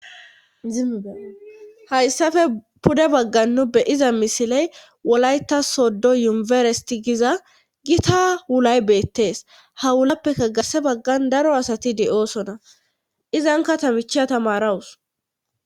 ihayssafe pude baggan nu beyiza misiley wolayta soddo yumeresti giza gita wulay beettees ha wulappeka garse baggan daro asati de7oosona izanka tamicha tamarawus